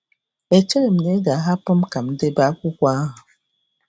Echeghị m na ị ga-ahapụ m ka m debe akwụkwọ ahụ